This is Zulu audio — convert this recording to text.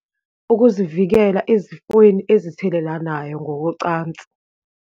Ukizivekela ezifweni ezithelelanayo ngokocansi.